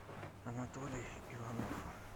анатолий иванов